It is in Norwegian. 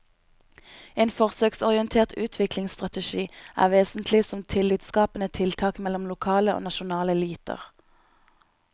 En forsøksorientert utviklingsstrategi er vesentlig som tillitsskapende tiltak mellom lokale og nasjonale eliter.